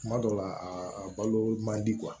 Kuma dɔw la a balo man di